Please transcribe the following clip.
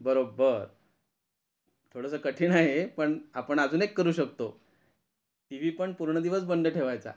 बरोबर थोडंसं कठीण आहे हे पण आपण अजून एक करू शकतो टीव्ही पण पूर्ण दिवस बंद ठेवायचा.